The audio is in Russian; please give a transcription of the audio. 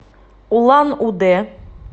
улан удэ